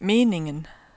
meningen